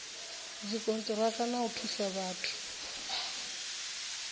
dzikoniraka na u thusa vhathu